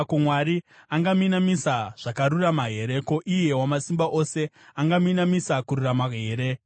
Ko, Mwari angaminamisa zvakarurama here? Ko, iye Wamasimba Ose angaminamisa kururama here?